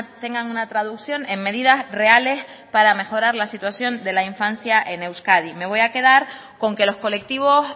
tengan una traducción en medidas reales para mejorar la situación de la infancia en euskadi me voy a quedar con que los colectivos